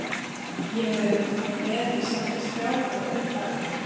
Sem ég hef verið með í samtals þrjá komma fimm daga.